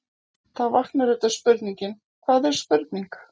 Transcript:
Þá vaknar auðvitað spurningin: hvað er spurning?.